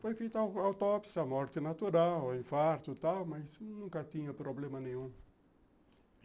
Foi feito uma autópsia, morte natural, infarto e tal, mas nunca tinha problema nenhum.